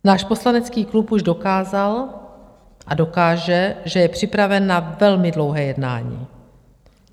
Náš poslanecký klub už dokázal a dokáže, že je připraven na velmi dlouhé jednání.